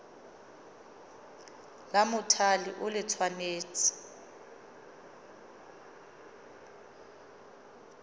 la mothale o le tshwanetse